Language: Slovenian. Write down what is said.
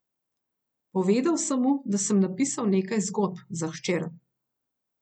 Povedal sem mu, da sem napisal nekaj zgodb za hčer.